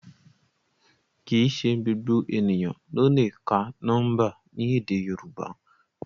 Kìí ṣe gbogbo eniyan lo le ka nọmba ni èdè yorùbá